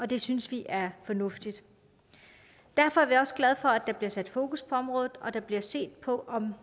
det synes vi er fornuftigt derfor er vi også glade for at der bliver sat fokus på området og at der bliver set på om